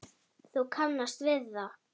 Þú kannast við það!